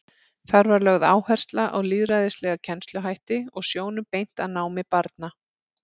Þar var lögð áhersla á lýðræðislega kennsluhætti og sjónum beint að námi barna.